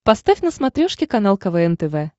поставь на смотрешке канал квн тв